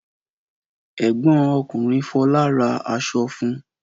Ẹ̀gbọ́n ọkùnrin Fọlá ra aṣọ fún?